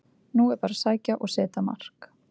Nú er bara að sækja og setja mark!